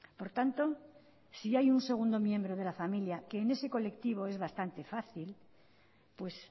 por tanto si hay un segundo miembro de la familia que en ese colectivo es bastante fácil pues